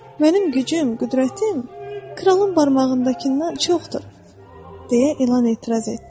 Mənim gücüm, qüdrətim kralın barmağındakından çoxdur, deyə ilan etiraz etdi.